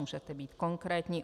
Můžete být konkrétní?"